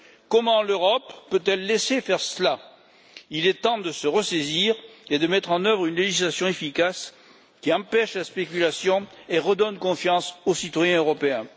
Comment l'Europe peut elle laisser faire cela? Il est temps de se ressaisir et de mettre en œuvre une législation efficace qui empêche la spéculation et redonne confiance aux citoyens européens.